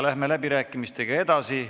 Läheme läbirääkimistega edasi.